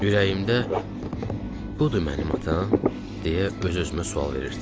Ürəyimdə "budur mənim atam?" deyə öz-özümə sual verirdim.